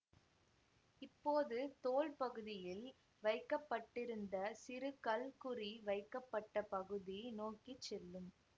இப்போது தோல் பகுதியில் வைக்க பட்டிருந்த சிறு கல் குறி வைக்கப்பட்ட பகுதி நோக்கி செல்லும்